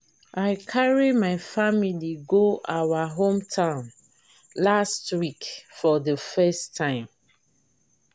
i carry my family go our hometown last week for the first time